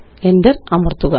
Enter അമര്ത്തുക